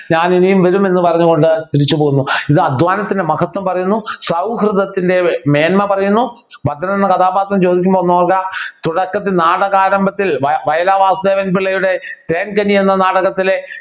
ഞാനിനിയും വരുമെന്ന് പറഞ്ഞുകൊണ്ട് തിരിച്ചുപോകുന്നു ഇത് അധ്വാനത്തിൻ്റെ മഹത്വം പറയുന്നു സൗഹൃദത്തിൻ്റെ മേന്മ പറയുന്നു ഭദ്രൻ എന്ന കഥാപാത്രം ചോദിക്കുമ്പോ ഒന്നോർക്കുക തുടക്കത്തിൽ നാടക ആരംഭത്തിൽ വയലാർ വാസുദേവൻ പിള്ളയുടെ തേൻകനി എന്ന നാടകത്തിലെ